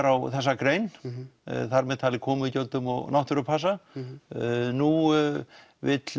á þessa grein þar með talið komugjöldum og náttúrupassa nú vill